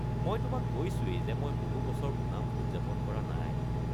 মই তোমাক কৈছোৱেই যে মই বহু বছৰ ওনাম উদযাপন কৰা নাই।